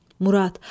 Murad.